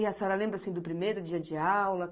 E a senhora lembra, assim, do primeiro dia de aula?